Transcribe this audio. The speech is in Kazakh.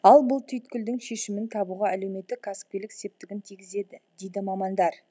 ал бұл түйткілдің шешімін табуға әлеуметтік кәсіпкерлік септігін тигізеді дейді мамандар